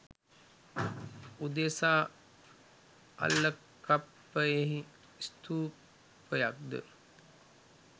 උදෙසා අල්ලකප්පයෙහි ස්ථූපයක් ද